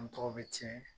An tɔgɔ bɛ tiɲɛ